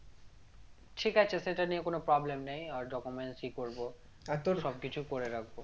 ঠিক আছে সেটা নিয়ে কোন problem নেই document সবকিছু করে রাখবো